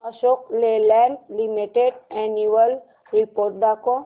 Ashok Leyland limited annual report दाखव